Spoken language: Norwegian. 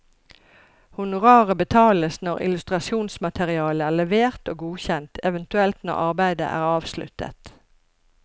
Honoraret betales når illustrasjonsmaterialet er levert og godkjent, eventuelt når arbeidet er avsluttet.